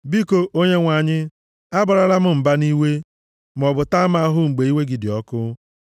Biko, Onyenwe anyị, abarala m mba nʼiwe, maọbụ taa m ahụhụ mgbe iwe gị dị ọkụ.